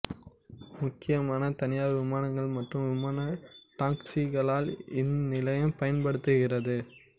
முக்கியமாக தனியார் விமானங்கள் மற்றும் விமான டாக்ஸிகளால் இந்நிலையம் பயன்படுத்தப்படுகிறது